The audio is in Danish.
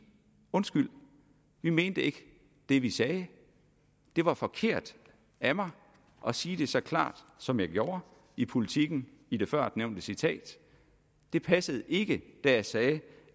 undskyld vi mente ikke det vi sagde det var forkert af mig at sige det så klart som jeg gjorde i politiken i det førnævnte citat det passede ikke da jeg sagde at